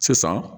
Sisan